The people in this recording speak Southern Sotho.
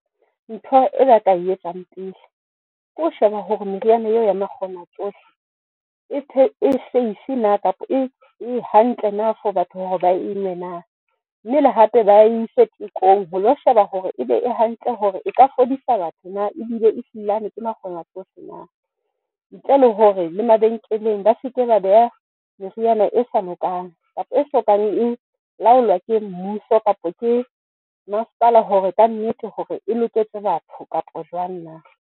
Ntho e ba ka e etsang pele ke ho sheba hore meriana eo ya makgonatsohle e safe na? Kapa e hantle na for batho hore ba e nwe nang mmele le hape ba ise tekong ho lo sheba hore ebe e hantle hore e ka fodisa batho na? Ebile ehlilane ke makgonatsohle na? Ntle le hore le mabenkeleng ba se ke ba beha meriana e sa lokang kapa e sokang e laolwa ke mmuso kapa ke masepala hore ka nnete hore e loketse batho kapa jwang na?